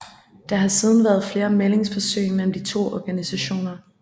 Der har siden været flere mæglingsforsøg mellem de to organisationer